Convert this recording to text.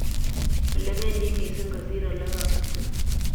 Ole bendi mising kosiir ole koit.